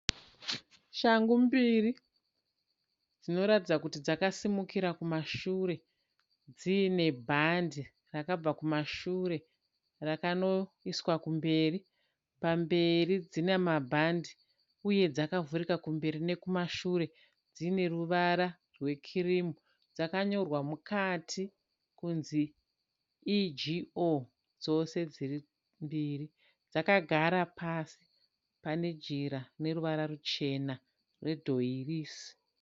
Shangu mbiri dzinoratidza kuti dzakasimukira kumashure dziine bhande rakabva kumashure rakanoiswa kumberi, pamberi dzina mabhandi uye dzakavhurika kumberi nekumashure dzine ruvara rwe kirimu dzakakanyorwa mukati kunzi EGO dzose dziri mbiri dzakagara pasi pane jira rine ruvara ruchena redhoirisi.